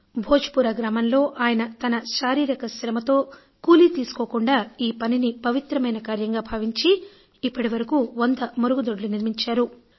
భోజ్ పురా గ్రామంలో ఆయన తన శారీరక శ్రమతో కూలీ తీసుకోకుండా ఈ పనిని పవిత్రమైన కార్యంగా భావించి ఇప్పటివరకు 100 మరుగుదొడ్లు నిర్మించారు